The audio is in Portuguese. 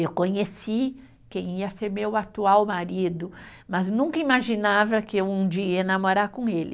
Eu conheci quem ia ser meu atual marido, mas nunca imaginava que um dia ia namorar com ele.